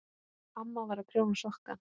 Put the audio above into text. Amma var að prjóna sokka.